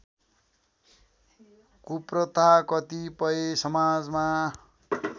कुप्रथा कतिपय समाजमा